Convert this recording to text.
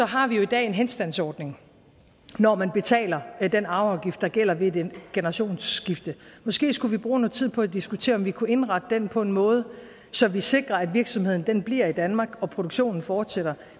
har vi jo i dag en henstandsordning når man betaler den arveafgift der gælder ved et generationsskifte måske skulle vi bruge noget tid på at diskutere om vi kunne indrette den på en måde så vi sikrer at virksomheden bliver i danmark og produktionen fortsætter